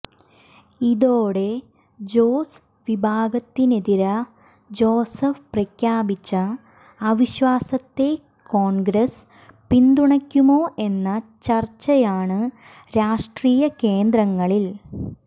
ഇതോടെ ജോസ് വിഭാഗത്തിനെതിരെ ജോസഫ് പ്രഖ്യാപിച്ച അവിശ്വാസത്തെ കോൺഗ്രസ് പിന്തുണയ്ക്കുമോ എന്ന ചർച്ചയാണ് രാഷ്ട്രീയ കേന്ദ്രങ്ങളിൽ